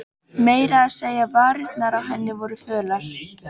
Meira að segja varirnar á henni voru fölar.